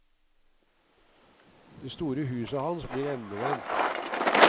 Det store huset hans blir endevendt.